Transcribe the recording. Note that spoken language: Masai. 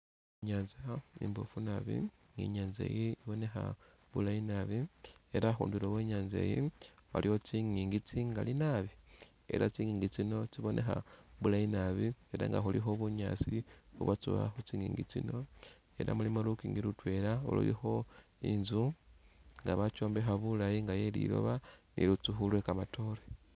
I'nyaanza imboofu nabi, I'nyaanza iyi ibonekha bulayi nabi ela khundulo khwe i'nyaanza iyi waliwo tsingiingi tsingali nabi ela tsingiingi tsino tsibonekha bulayi nabi ela nga khulikho bunyaasi ubwatsowamu khu tsingiingi tsino ela mulimu lukiingi lutwela lulikho inzu nga bakyombekha bulayi nga iye liloba ni lusukhu lwe kamatoore.